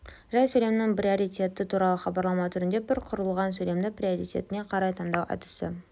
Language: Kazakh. жай сөйлемнің приоритеті туралы хабарлама түрінде бір құрылған сөйлемді приоритетіне қарай таңдау әдісі